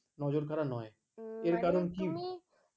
নজর কাড়া নয় হম এর কারণ কি